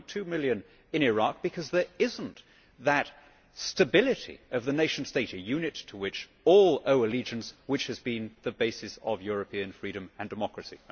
2.2 million in Iraq, because there is not that stability of the nation state, a unit to which all owe allegiance, which has been the basis of European freedom and democracy.